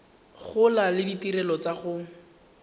gola le ditirelo tsa go